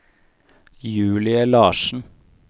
Julie Larsen